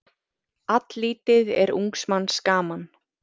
Alllítið er ungs manns gaman.